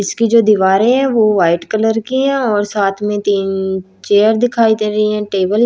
इसकी जो दीवारें हैं वो वाइट कलर की हैं और साथ में तीन चेयर दिखाई दे रही हैं टेबल --